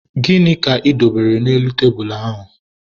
Gịnị ka ị dobere n'elu tebulu ahụ?